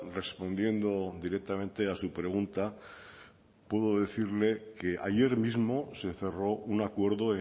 respondiendo directamente a su pregunta puedo decirle que ayer mismo se cerró un acuerdo